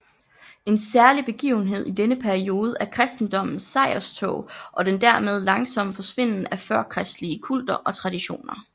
En særlig begivenhed i denne periode er kristendommens sejrstog og den dermed langsomme forsvinden af førkristelige kulter og traditioner